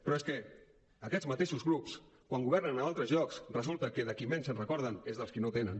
però és que aquests mateixos grups quan governen a d’altres llocs resulta que dels qui menys es recorden és dels qui no en tenen